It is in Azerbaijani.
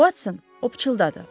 Watson, o pıçıldadı.